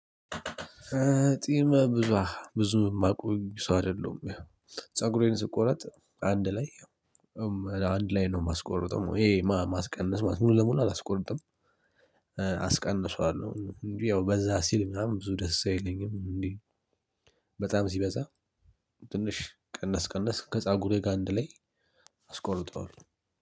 ጺም ብዙ ብዙ የማቆይ ሰው አይደለም። ፀጉሬን ስቆረጥ አንድ ላይ አንድ ላይ ነው ማስቆርጠው ይሄ ማስቀነስ ሙሉ ለሙሉ አላስቆርጥም። አስቀንሰዋለሁ እንዴ ያው በዛ ሲል ምናምን ብዙ ደስ አይለኝም እንዴ በጣም ሲበዛ ትንሽ ቀነስ ቀነስ ከጻጉሬ ጋር አንድ ላይ አስቆርጠዋለሁ